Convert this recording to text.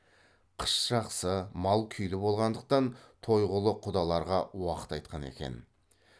қыс жақсы мал күйлі болғандықтан тойғұлы құдаларға уақыт айтқан екен